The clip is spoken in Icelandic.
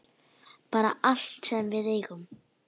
Bara allt sem við eigum.